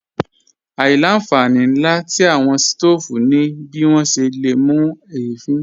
Àìlà-nfàní nlà tí awọn sítoofú ní bí wọn ṣè lé mú ẹ̀fìn.